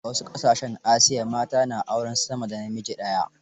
A wasu ƙasashen Asiya, mata na aurar sama da namiji daya.